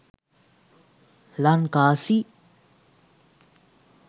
lanka c